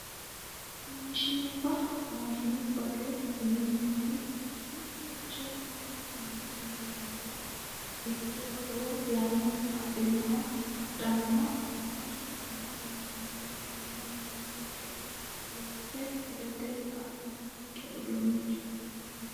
Maashinubba maashinubbate yineemmoti mittoricho uminkenni loonsummoha ikkiro lowo yanna adhannoha maashinetenni loonsummoro shiima yanna giddo loose gudate kaa'lannonke uduunnichooti yaate